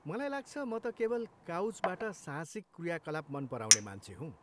मलाई लाग्छ, म त केवल काउचबाट साहसिक क्रियाकलाप मन पराउने मान्छ हुँ!